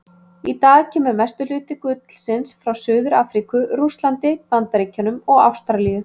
Í dag kemur mestur hluti gullsins frá Suður-Afríku, Rússlandi, Bandaríkjunum og Ástralíu.